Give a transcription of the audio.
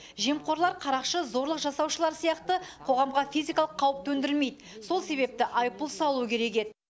жемқорлар қарақшы зорлық жасаушылар сияқты қоғамға физикалық қауіп төндірмейді сол себепті айыппұл салу керек еді